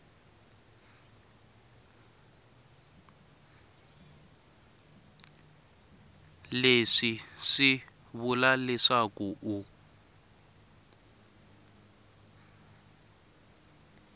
leswi swi vula leswaku u